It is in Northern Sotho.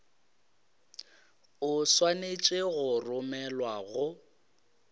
o swanetše go romelwa go